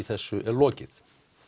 þessu er lokið